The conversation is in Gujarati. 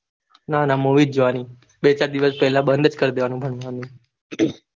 ના ના movies જોવાની બે ચાર દિવસ પેલા બંધજ કરીદેવાનું ભણવાનું